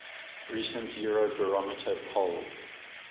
recent eurobarometer poll